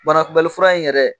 Banakunbɛli fura in yɛrɛ